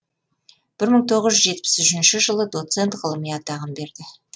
бір мың тоғыз жүз жетпіс үшінші жылы доцент ғылыми атағын берді